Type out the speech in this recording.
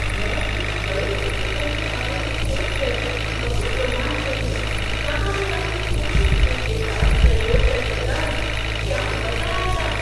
मैं एक बड़े से किचन के बारे में सोच कर ही बहुत रोमांचित हूँ जहां मैं अपने कुकिंग स्किल के साथ प्रयोग कर सकता हूँ। क्या मज़ा आएगा!